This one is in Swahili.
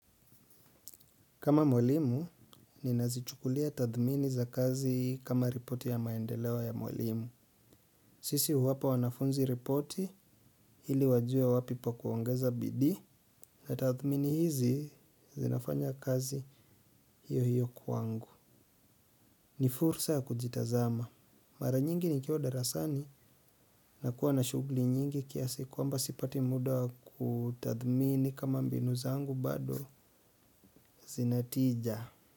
Kama mwalimu, ninazichukulia tathmini za kazi kama ripoti ya maendeleo ya mwalimu. Sisi huwapa wanafunzi ripoti ili wajue wapi pa kuongeza bidii na tathmini hizi zinafanya kazi hiyo hiyo kwangu. Ni fursa kujitazama. Mara nyingi nikiwa darasani na kuwa na shughuli nyingi kiasi kwamba sipati muda kutathmini kama mbinu zangu bado zinatija.